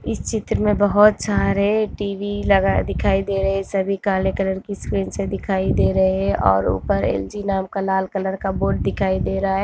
इस चित्र में बहोत सारे टीवी लगा दिखाइ दे रहे। साबी काले कलर किस काइस दिखाइ दे रहा है। और ऊपर एलजी नाम का लाल कलर का बोर्ड दिखाइ दे रहा--